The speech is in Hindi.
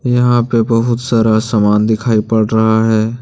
यहां पे बहुत सारा सामान दिखाई पड़ रहा है।